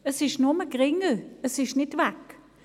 Der Anteil ist nur geringer, er ist nicht inexistent.